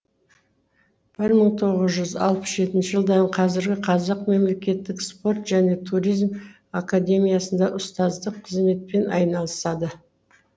бір мың тоғыз жүз алпыс төртінші жылдан қазіргі қазақ мемлекеттік спорт және туризм академиясында ұстаздық қызметпен айналысады